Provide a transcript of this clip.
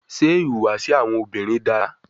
Ṣe ihuwasi awọn obinrin dara?